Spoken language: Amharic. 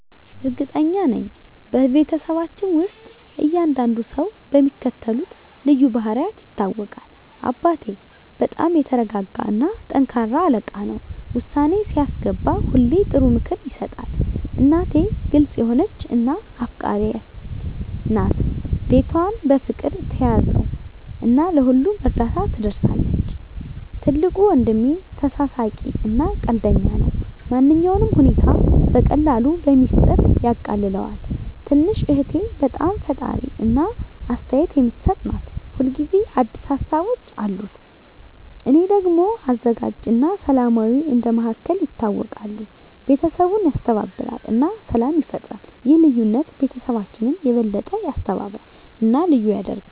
እርግጠኛ ነኝ፤ በቤተሰባችን ውስጥ እያንዳንዱ ሰው በሚከተሉት ልዩ ባህሪያት ይታወቃል - አባቴ በጣም የተረጋጋ እና ጠንካራ አለቃ ነው። ውሳኔ ሲያስገባ ሁሌ ጥሩ ምክር ይሰጣል። እናቴ ግልጽ የሆነች እና አፍቃሪች ናት። ቤቷን በፍቅር ትያዘው እና ለሁሉም እርዳታ ትደርሳለች። ትልቁ ወንድሜ ተሳሳቂ እና ቀልደኛ ነው። ማንኛውንም ሁኔታ በቀላሉ በሚስጥር ያቃልለዋል። ትንሽ እህቴ በጣም ፈጣሪ እና አስተያየት የምትሰጥ ናት። ሁል ጊዜ አዲስ ሀሳቦች አሉት። እኔ ደግሞ አዘጋጅ እና ሰላማዊ እንደ መሃከል ይታወቃለሁ። ቤተሰቡን ያስተባብራል እና ሰላም ይፈጥራል። ይህ ልዩነት ቤተሰባችንን የበለጠ ያስተባብራል እና ልዩ ያደርገዋል።